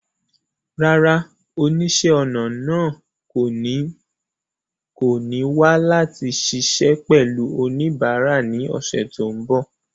Rárá, oníṣẹ́-ọnà náà kò ní wà láti ṣiṣẹ́ pẹ̀lú oníbàárà ní ọ̀sẹ̀ tó ń bọ̀.